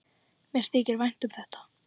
Mér þykir vænt um þetta.